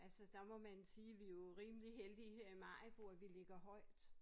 Altså der må man sige vi jo rimeligt heldige her i Maribo at vi lægger højt